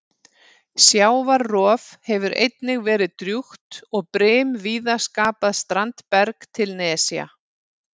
Sjávarrof hefur einnig verið drjúgt og brim víða skapað standberg til nesja.